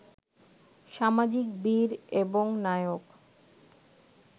সামাজিক বীর এবং নায়ক